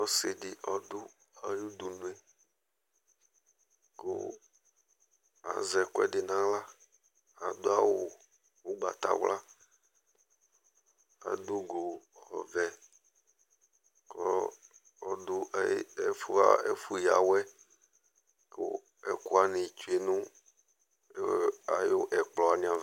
Ɔsɩ ɖɩ ɔɖʋ aƴʋ uɖunue ƙʋ azɛ ɛƙʋɛɖɩ n' aɣlaAɖʋ awʋ ʋgbatawla, aɖʋ ʋgo ɔvɛƘɔɔ ɔɖʋ ɛƒʋ ƴǝ awɛ, ɛƙʋ wanɩ tsue nʋ ɛƙplɔ wanɩ ava